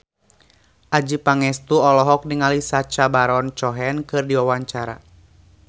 Adjie Pangestu olohok ningali Sacha Baron Cohen keur diwawancara